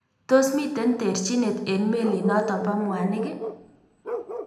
Tos mitei terchineet eng melinotok po mwaniik.ii?